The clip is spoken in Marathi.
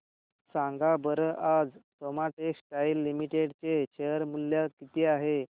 सांगा बरं आज सोमा टेक्सटाइल लिमिटेड चे शेअर चे मूल्य किती आहे